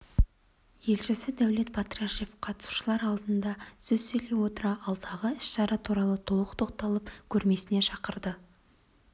елшісі дәулет батрашев қатысушылар алдында сөз сөйлей отыра алдағы іс-шара туралы толық тоқталып көрмесіне шақырды